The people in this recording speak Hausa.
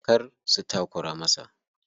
Kar su takura masa.